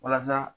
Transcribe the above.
Walasa